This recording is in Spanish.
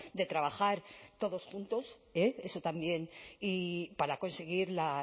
de trabajar todos juntos eh eso también para conseguir la